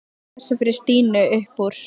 Mangi var að lesa fyrir Stínu upp úr